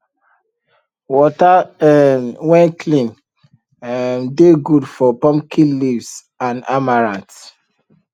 water um wen clean um dey good for pumpkin leaves and amaranth